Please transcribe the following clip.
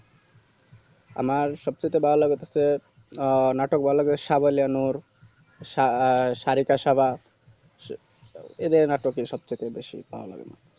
আমার সব থেকে ভালো লাগে অবশ্য নাটক ভাল্লাগে সাবেলানুর সা আ সারিকা সাবা সু এদের নাটক সব থেকে ভালো লাগে